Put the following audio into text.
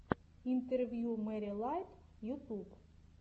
интервью мэри лайт ютуб